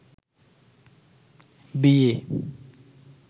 বিয়ে